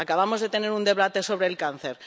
Acabamos de tener un debate sobre el cáncer